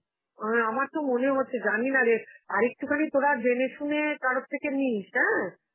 হ্যাঁ আমার তো মনে হচ্ছে, জানিনারে, আর একটুখানি তোরা জেনে শুনে কারোর থেকে নিস, অ্যাঁ?